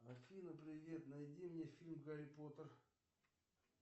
афина привет найди мне фильм гарри поттер